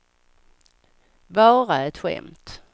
bara ett skämt